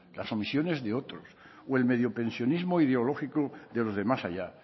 las omisiones de otros o el mediopensionismo ideológico de los de más allá